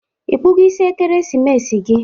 Ịkpụgo isi Ekeremesi gi?